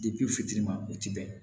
fitirima o ti bɛn